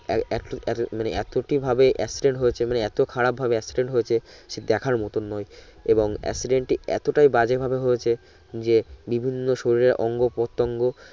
মানে এতটি ভাবে accident হয়েছে মানে এত খারাপ ভাবে accident হয়েছে সে দেখার মত নয় এবং accident এত টাই বাজে ভাবে হয়েছে যে বিভিন্ন শরীরের অঙ্গ পতঙ্গ